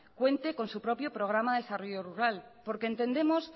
cuente con su propio programa de desarrollo rural porque entendemos